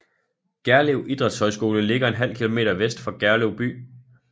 Gerlev Idrætshøjskole ligger en halv kilometer vest for Gerlev by